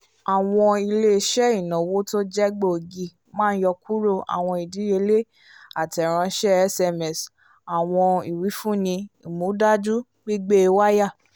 awọn ile-iṣẹ ìnáwó t'oje gbóògì má n yọ kúrò awọn ìdíyelé atẹ ránṣẹ sms fun awọn iwifunni ìmúdájú gbígbé waya